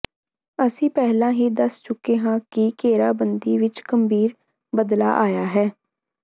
ਅਸੀਂ ਪਹਿਲਾਂ ਹੀ ਦੱਸ ਚੁੱਕੇ ਹਾਂ ਕਿ ਘੇਰਾਬੰਦੀ ਵਿਚ ਗੰਭੀਰ ਬਦਲਾਅ ਆਇਆ ਹੈ